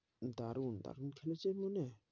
দারুন, দারুন খেলেছে .